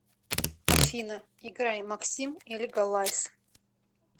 афина играй максим и лигалайз